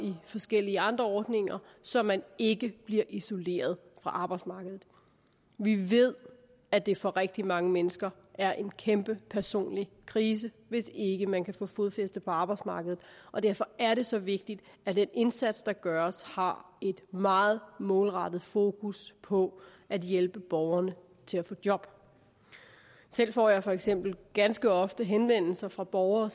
i forskellige andre ordninger så man ikke bliver isoleret fra arbejdsmarkedet vi ved at det for rigtig mange mennesker er en kæmpe personlig krise hvis ikke man kan få fodfæste på arbejdsmarkedet og derfor er det så vigtigt at den indsats der gøres har et meget målrettet fokus på at hjælpe borgerne til at få job selv får jeg for eksempel ganske ofte henvendelser fra borgere